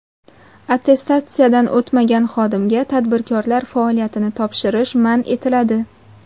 Attestatsiyadan o‘tmagan xodimga tadbirkorlar faoliyatini tekshirish man etiladi.